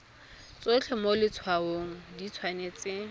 tsotlhe mo letshwaong di tshwanetse